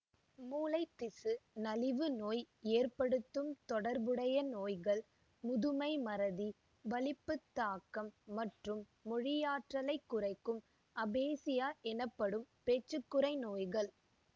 மூளைத்திசு நலிவு நோய் ஏற்படுத்தும் தொடர்புடைய நோய்கள் முதுமை மறதி வலிப்புத்தாக்கம் மற்றும் மொழியாற்றலைக் குறைக்கும் அபேசியா எனப்படும் பேச்சுக்குறை நோய்கள்